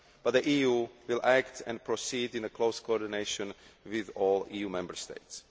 The EU will act and proceed in close coordination with all EU Member States.